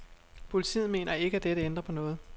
Politiet mener ikke at dette ændrer på noget.